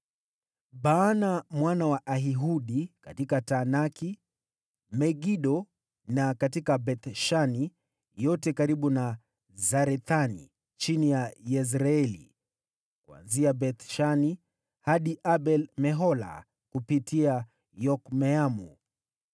Baana mwana wa Ahiludi: katika Taanaki na Megido, na katika Beth-Shani yote karibu na Sarethani chini ya Yezreeli, kuanzia Beth-Shani hadi Abel-Mehola kupita hadi Yokmeamu;